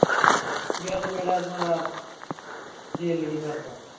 ਯਾਰ ਮੇਰਾ ਸਾਲਾ ਦਿਲ ਹੀ ਨਹੀਂ ਕਰਦਾ